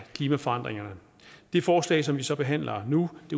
klimaforandringerne det forslag som vi så behandler nu